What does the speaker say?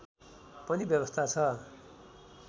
पनि व्यवस्था छ